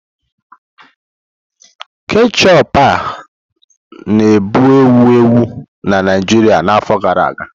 Ketchup a-na bụ ewu ewu na Naijiria na afọ gara aga.